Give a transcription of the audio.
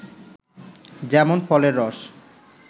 যেমন ফলের রস